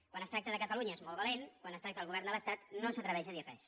quan es tracta de catalunya és molt valent quan es tracta del govern de l’estat no s’atreveix a dir res